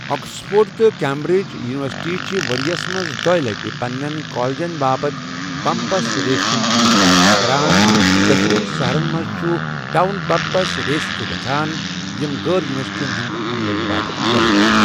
Oxford تہٕ Cambridge یونیورسٹیہِ چھِ ؤریَس منٛز دوٚیہِ لَٹہِ پنِنٮ۪ن کالجَن باپتھ بمپس رٕیسہِ ہُنٛد انعقاد کران، تہٕ دۄشوٕنی شَہرَن منٛز چھِ ٹاؤن بمپس رٕیسیں تہِ گژھَان، یِمۍ غٲر یوٗنیورسٹیَن ہٕنٛدِ عملَن باپتھ یَلے چھِ ۔